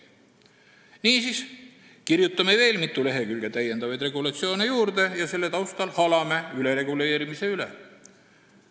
Niisiis, kirjutame veel mitu lehekülge täiendavaid regulatsioone juurde ja selle taustal halame ülereguleerimise üle!